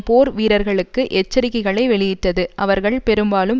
போர் வீரர்களுக்கு எச்சரிக்கைகளை வெளியிட்டது அவர்கள் பெரும்பாலும்